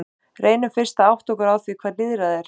Reynum fyrst að átta okkur á því hvað lýðræði er.